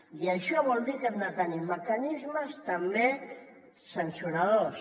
i això vol dir que hem de tenir mecanismes també sancionadors